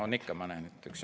On ikka, ma näen ...